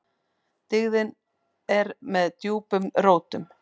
Dyggðin er með djúpum rótum.